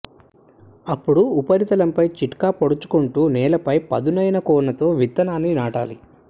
అప్పుడు ఉపరితలంపై చిట్కా పొడుచుకుంటూ నేలపై పదునైన కొనతో విత్తనాన్ని నాటాలి